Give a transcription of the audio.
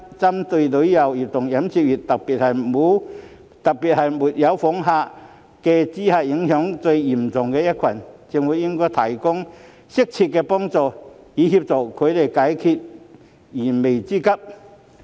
針對旅遊業和飲食業界，特別是因沒有訪港旅客而受到最嚴重影響的一群，政府應提供適切協助，以助他們解決燃眉之急。